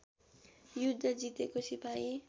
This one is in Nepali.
युद्ध जितेको सिपाही